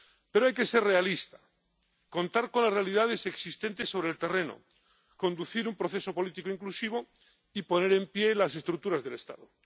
Pero hay que ser realistas, contar con las realidades existentes sobre el terreno, conducir un proceso político inclusivo y poner en pie las estructuras del Estado.